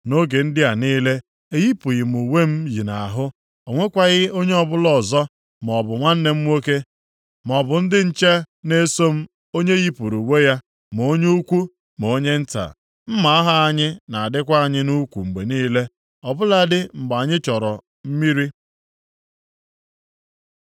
Nʼoge ndị a niile, eyipụghị m uwe m yi nʼahụ. O nwekwaghị onye ọbụla ọzọ, maọbụ nwanne m nwoke, maọbụ ndị nche na-eso m onye yipụrụ uwe ya ma onye ukwu ma onye nta. Mma agha anyị na-adịkwa anyị nʼukwu mgbe niile, ọbụladị mgbe anyị chọrọ mmiri.